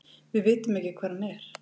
Við vitum ekki hvar hann er.